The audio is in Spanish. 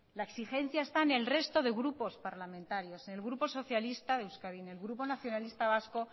la exigencia está en el resto de grupo parlamentarios en el grupo socialista de euskadi en el grupo nacionalista vasco